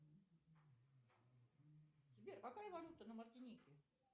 сбер какая валюта на мартинике